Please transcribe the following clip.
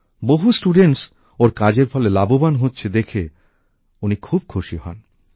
বহু ছাত্রছাত্রী ওঁর কাজের ফলে লাভবান হচ্ছে দেখে উনি খুব খুশি হন